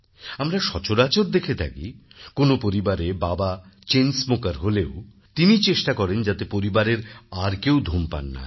আমরা সচরাচর দেখে থাকি কোন পরিবারে বাবা চেইন smokerহলেও তিনি চেষ্টা করেন যাতে পরিবারের আর কেউ ধূমপান না করে